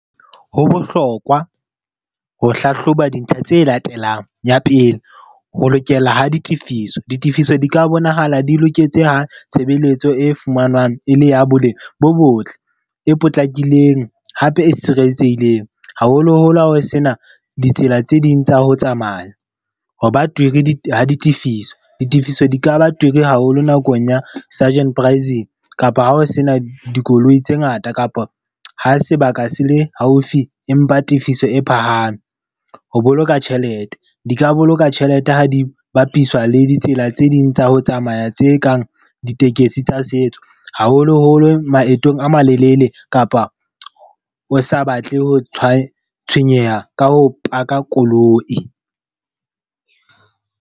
Ho bohlokwa ho hlahloba dintlha tse latelang. Ya pele, ho lokela ho ditifiso. Ditifiso di ka bonahala di loketse ho tshebeletso e fumanwang, e le ya boleng bo botle, e potlakileng, hape e tshireletsehileng. Haholoholo ha ho sena ditsela tse ding tsa ho tsamaya. Hoba twiri ha di ditifiso. Ditifiso di ka ba twiri haholo nakong ya Surgeon Praising, kapa ha ho sena dikoloi tse ngata kapa ha sebaka se le haufi empa tifiso e phahame. Ho boloka tjhelete, di ka boloka tjhelete ha di bapiswa le ditsela tse ding tsa ho tsamaya tse kang ditekesi tsa setso. Haholoholo maetong a malelele kapa o sa batle ho tshwa, tshwenyeha ka ho park-a koloi.